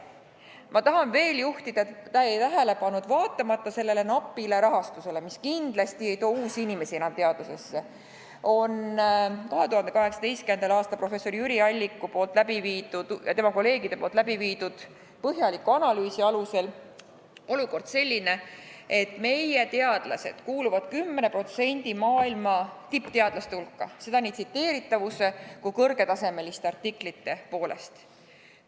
Ma tahan juhtida tähelepanu ka sellele, et vaatamata napile rahastusele, mis kindlasti ei too enam uusi inimesi teadusesse, on olukord 2018. aastal professor Jüri Alliku ja tema kolleegide tehtud põhjaliku analüüsi alusel selline, et meie teadlased kuuluvad 10% maailma tippteadlaste hulka, seda nii tsiteeritavuse kui ka kõrgetasemeliste artiklite poolest.